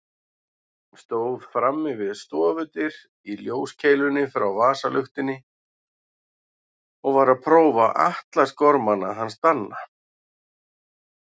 Stóð frammi við stofudyr í ljóskeilunni frá vasaluktinni og var að prófa atlasgormana hans Danna.